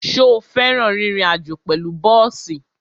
Ṣo fẹ́ràn rírin àjó pẹ̀lú bọ́ọ̀sì?